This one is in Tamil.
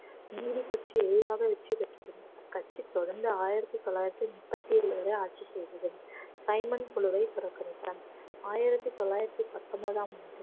நீதி கட்சி எளிதாக வெற்றி பெற்றது அக்கட்சி தொடர்ந்து ஆயிரத்தி தொள்ளாயிரத்தி முப்பத்தி ஏழு வரை ஆட்சி செய்தது சைமன் குழுவை புறக்கணித்தார் ஆயிரத்தி தொள்ளாயிரத்தி பத்தொன்பதாம் ஆண்டு